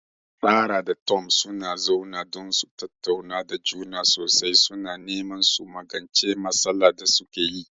Sarah da Tom sun zauna don su tattauna da juna sosai, suna neman su magance matsalar da suke yi.